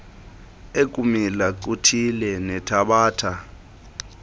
ekumila kuthile nethabatha